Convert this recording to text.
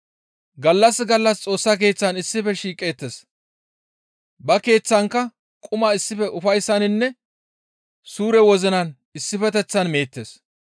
Gallas gallas Xoossa Keeththan issife shiiqeettes; ba keeththankka quma issife ufayssaninne suure wozinan issifeteththan meettes.